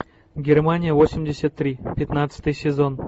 германия восемьдесят три пятнадцатый сезон